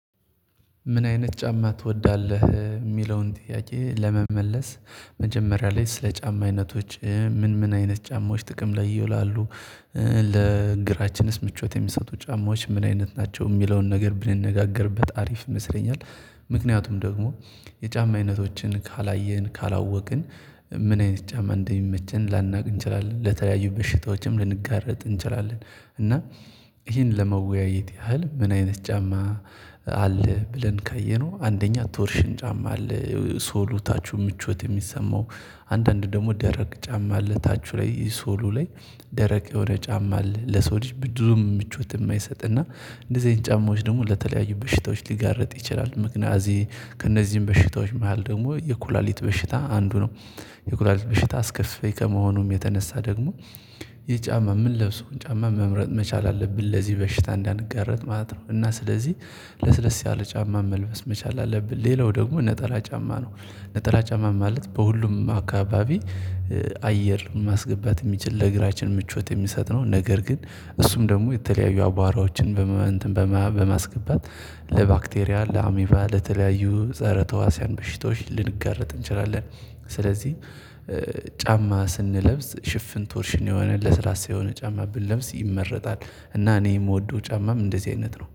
ምን አይነት ጫማ ትወዳለህ? የሚለውን ጥያቄ ለመመለስ መጀመሪያ ላይ ስለ ጫማ አይነቶች ምን ምን አይነት ጫማዎች ጥቅም ላይ ይውላሉ ለእግራችንስ ምቾት የሚሰጡ ጫማዎች ምን አይነት ናቸው የሚለውን ነገር ብንነጋገርበት አሪፍ ይመስለኛል ምክንያቱም ደግሞ የጫማ አይነቶችን ካላየን ካላወቅን ምን አይነት ጫማ እንደሚመቸን ላናውቅ እንችላለን ለተለያዩ በሽታዎችም ልንጋረጥ እንችላለን እና ይሄን ለመወያየት ያህል ምን አይነት ጫማ አለ ብለን ካየነው አንደኛ ቶርሽን ጫማ አለ ሶሉ ታቹ ምቾት የሚሰማው አንዳንድ ደግሞ ደረቅ ጫማ አለ ታቹ ላይ ሶሉ ላይ ደረቅ የሆነ ጫማ ለሰው ልጅ ብዙም ምቾት የማይሰጥ እና እንደዚህ ጫማዎች ደግሞ ለተለያዩ በሽታዎች ሊጋርጥ ይችላል ምክንያቱም ከእነዚህም በሽታዎች መሃል ደግሞ የኩላሊት በሽታ አንዱ ነው። የኩላሊት በሽታ አስከፊ ከመሆኑም የተነሳ ደግሞ ይሄ ጫማ የምንለብሰውን ጫማ መምረጥ መቻል አለብን ለዚህ በሽታ እንዳንጋረጥ ማለት ነው እና ስለዚህ ለስለስ ያለ ጫማ መልበስ መቻል አለብን ሌላው ደግሞ ነጠላ ጫማ ነው ነጠላ ጫማ ማለት በሁሉም አካባቢ አየር ማስገባት የሚችል ለግራችን ምቾት የሚሰጥ ነው ነገር ግን እሱም ደግሞ የተለያዩ አቧራዎችን በማስገባት ለባክቴሪያ ለአሚቫ ለተለያዩ ፀረ ተዋሲያን በሽታዎች ልንጋረጥ እንችላለን ስለዚህ ጫማ ስንለብስ ሽፍን ቶርሽን የሆነ ለስራ ሳይሆን ጫማ ብንለብስ ይመረጣል እና እኔ የምወደው ጫማም እንደዚህ አይነት ነው